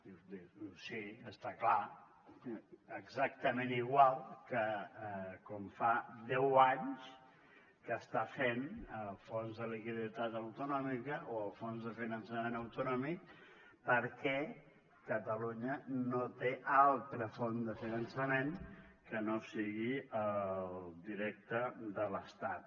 dius sí està clar exactament igual que com fa deu anys que ho està fent el fons de liquiditat autonòmic o el fons de finançament autonòmic perquè catalunya no té altra font de finançament que no sigui directa de l’estat